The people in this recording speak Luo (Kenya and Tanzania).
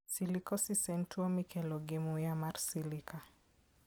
Silicosis en tuwo mikelo gi muya mar silica.